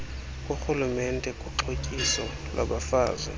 kukarhulumente kuxhotyiso lwabafazi